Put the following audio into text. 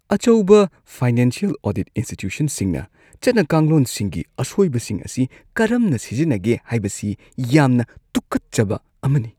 ꯑꯆꯧꯕ financial audit ꯏꯟꯁ꯭ꯇꯤꯇ꯭ꯌꯨꯁꯟꯁꯤꯡꯅ ꯆꯠꯅ-ꯀꯥꯡꯂꯣꯟꯁꯤꯡꯒꯤ ꯑꯁꯣꯏꯕꯁꯤꯡ ꯑꯁꯤ ꯀꯔꯝꯅ ꯁꯤꯖꯤꯟꯅꯒꯦ ꯍꯥꯏꯕꯁꯤ ꯌꯥꯝꯅ ꯇꯨꯀꯠꯆꯕ ꯑꯃꯅꯤ ꯫